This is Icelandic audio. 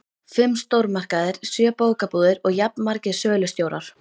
Fimm stórmarkaðir, sjö bókabúðir og jafnmargir sölustjórar.